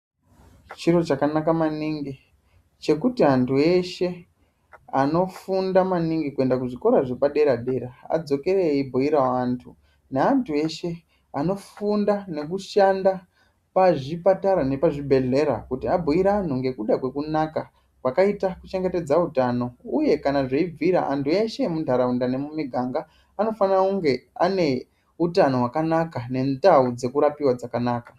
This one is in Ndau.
Chiro chakanaka maningi chekuti antu eshe anofunda maningi kuenda kuzvikora zvepadera dera adzokere eibhirawo antu ,neantu eshe vanofunda nekushanda pazvipatara nepazvibhedhlera kuti abhuire antu nekuda kwekunaka kwakaita kuchengetedza utano uye kana zveibvira antu eshe emuntaraunda nemumiganga anofanire kunge ane utano hwakanaka nendau dzekurapiwa dzakanaka.